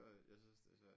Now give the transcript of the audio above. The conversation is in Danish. Jo jo jeg synes det er svært